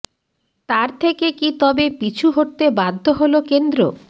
তার থেকে কি তবে পিছু হটতে বাধ্য হল কেন্দ্র